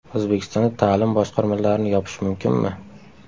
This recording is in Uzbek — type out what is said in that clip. O‘zbekistonda ta’lim boshqarmalarini yopish mumkinmi?.